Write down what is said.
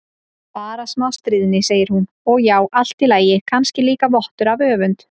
Bara smá stríðni, segir hún, og já, allt í lagi, kannski líka vottur af öfund.